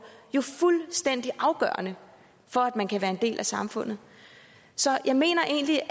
jo fuldstændig afgørende for at man kan være en del af samfundet så jeg mener egentlig at